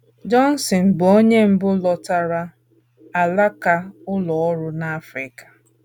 Johnston, bụ́ onye mbụ lekọtara alaka ụlọ ọrụ n’Africa.